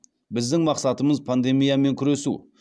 біздің мақсатымыз пандемиямен күресу